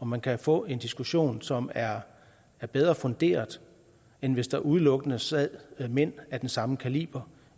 man kan få en diskussion som er er bedre funderet end hvis der udelukkende sad mænd af den samme kaliber